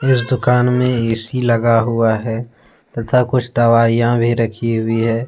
इस दुकान में ए_सी लगा हुआ है तथा कुछ दवाइयां भी रखी हुई है।